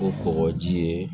O kɔgɔji ye